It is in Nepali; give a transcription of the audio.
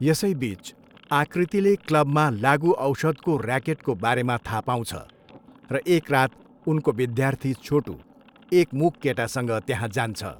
यसैबिच, आकृतिले क्लबमा लागुऔषधको र्याकेटको बारेमा थाहा पाउँछ र एक रात उनको विद्यार्थी छोटु, एक मूक केटासँग त्यहाँ जान्छ।